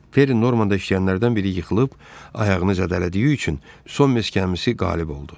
Perry Normandda işləyənlərdən biri yıxılıb, ayağını zədələdiyi üçün Son Meks gəmisi qalib oldu.